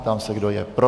Ptám se, kdo je pro.